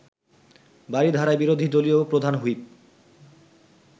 বারিধারায় বিরোধী দলীয় প্রধান হুইপ